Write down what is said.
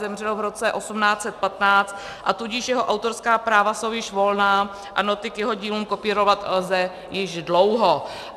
Zemřel v roce 1815, a tudíž jeho autorská práva jsou již volná a noty k jeho dílům kopírovat lze již dlouho.